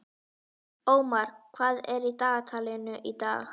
Ómar, hvað er á dagatalinu í dag?